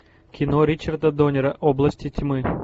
кино ричарда доннера области тьмы